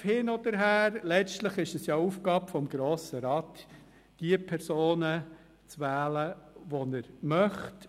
Töpfe hin oder her: Letztlich ist es die Aufgabe des Grossen Rats, die Personen zu wählen, die er möchte.